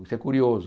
Isso é curioso.